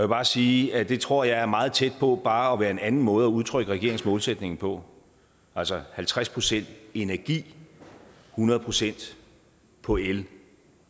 bare sige at det tror jeg er meget tæt på bare at være en anden måde at udtrykke regeringens målsætning på altså halvtreds procent energi hundrede procent på el